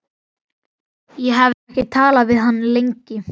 Ég hafði ekki talað við hann lengi.